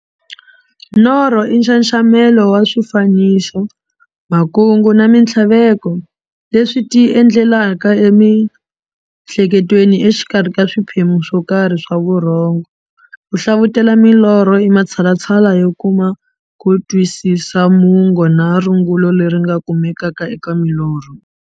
Norho i nxaxamelo wa swifaniso, makungu na minthlaveko leswi ti endlekelaka e mihleketweni exikarhi ka swiphemu swo karhi swa vurhongo. Ku hlavutela milorho i matshalatshala yo kuma ku twisisa mungo na rungula leri nga kumekaka eka milorho.